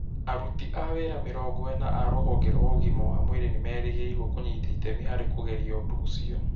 Aruti a wĩra mĩrongo ĩna a rũhonge rwa ũgima wa mwĩrĩ nĩmerĩgĩrĩirwo kũnyita itemi harĩ kũgeria ũndũ ũcio